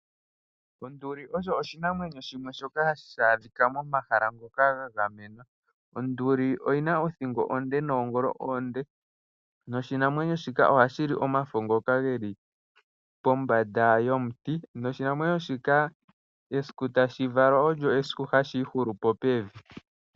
Onduli osho oshinamwenyo shimwe shoka hashi adhika momahala ngoka ga gamenwa. Onduli oyina othingo onde noongolo oonde, noshinamwenyo shoka ohashili omafo ngoka geli pombanda yomuti noshinamwemyo shika esiku tashi valwa olyo esiku tashi ihulupo pevi.